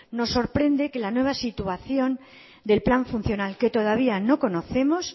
nos sorprende que la nueva situación del plan funcional que todavía no conocemos